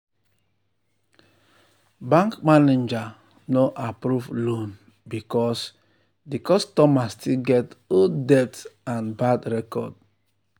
bank manager no approve loan because di customer still get old debt and bad record.